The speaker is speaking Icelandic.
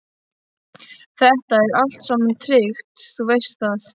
Þetta er allt saman tryggt, þú veist það.